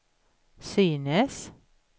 synes